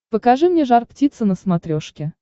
покажи мне жар птица на смотрешке